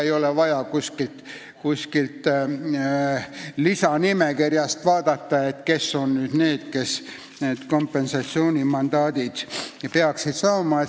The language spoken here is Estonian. Ei ole vaja kuskilt lisanimekirjast vaadata, kes peaksid kompensatsioonimandaadi saama.